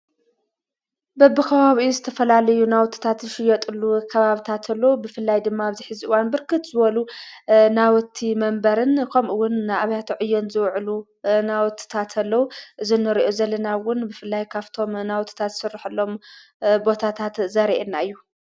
በብኸባቢኡ ዝተፈላልዩ ናዉትታት ዝሽየጡሉ ከባብታት አሎ ብፍላይ ድማ ኣብዚሐዚ እዋን ብርክት ዝበሉ ናዉቲ መንበርን ኸምኡውን ኣብያተዕዬን ዘዉዕሉ ናዉትታት አለዉ:: ዝንሪኦ ዘለና እውን ብፍላይ ካፍቶም ናውትታት ዝስረሐሎም ቦታታት ዘርእየና እዩ።